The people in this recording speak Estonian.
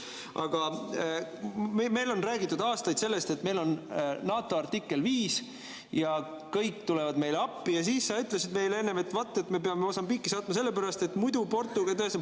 Aga meil on räägitud aastaid sellest, et meil on NATO artikkel 5 ja kõik tulevad meile appi, ja siis sa ütlesid enne, vaat, me peame Mosambiiki saatma, sellepärast et muidu Portugal …